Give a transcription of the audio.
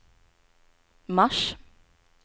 mars